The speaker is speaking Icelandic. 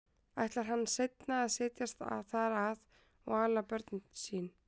Ætlar hann seinna að setjast þar að og ala börn sín?